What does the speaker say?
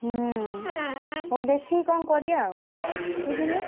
ହୁଁ ହଉ ଦେଖିକି କଣ କରିଆ ଆଉ ବୁଝିଲୁନା?